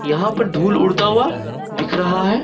यहां पर धूल उड़ता हुआ दिख रहा है।